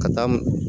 Ka taa m